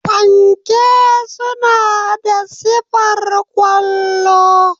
Fanke suna da sifar kwallo.